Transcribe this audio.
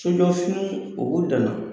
fininw o b'u da